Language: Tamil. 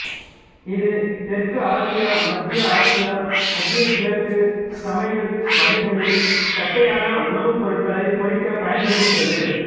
இது தெற்கு ஆசிய மத்திய ஆசிய மத்திய கிழக்கு சமையல் வகைகளில் தட்டையான உணவுப்பொருட்களை பொறிக்க பயன்படுகின்றது